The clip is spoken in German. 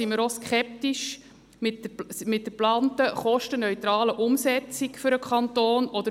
Ebenso stehen wir der geplanten, kostenneutralen Umsetzung für den Kanton skeptisch gegenüber.